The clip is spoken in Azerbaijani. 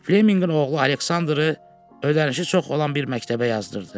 Fleminqin oğlu Aleksandrı ödənişi çox olan bir məktəbə yazdırdı.